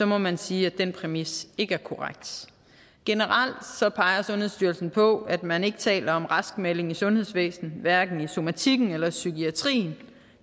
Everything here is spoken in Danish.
må man sige at den præmis ikke er korrekt generelt peger sundhedsstyrelsen på at man ikke taler om raskmelding i sundhedsvæsenet hverken i somatikken eller i psykiatrien